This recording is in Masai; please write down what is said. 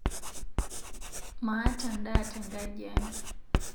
Maata ndaa teng'ajiai